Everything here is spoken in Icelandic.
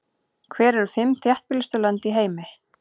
Hver eru fimm þéttbýlustu lönd í heimi?